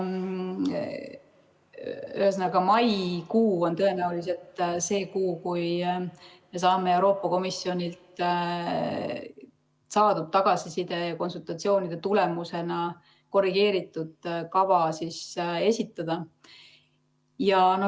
Ühesõnaga, maikuu on tõenäoliselt see kuu, kui me saame Euroopa Komisjonilt saadud tagasiside ja konsultatsioonide tulemusena korrigeeritud kava esitada.